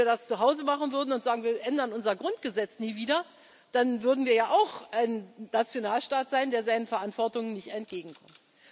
Denn wenn wir das zu Hause machen würden und sagen Wir ändern unser Grundgesetz nie wieder, dann würden wir ja auch ein Nationalstaat sein, der seiner Verantwortung nicht nachkommt.